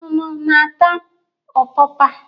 Unu na-ata ọpapa?